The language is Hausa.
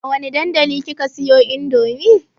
A wane dandali kika siyo indomie?